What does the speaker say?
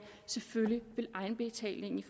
selvfølgelig vil egenbetalingen